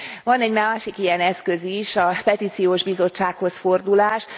Van egy másik ilyen eszköz is, a Petíciós Bizottsághoz fordulás.